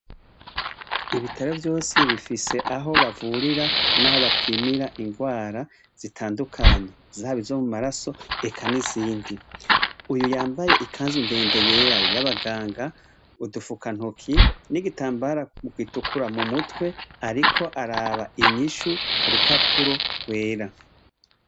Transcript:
Ibitaro vyose bifise aho bavurira n' aho bapimira ingwara zitandukanye zaba izo mumaraso eka n' izindi uyu yambaye ikanzu yera ndende y' abaganga udufukantoki n' igitambara gitukura mumutwe ariko araba inyishu kurupapuro gwera.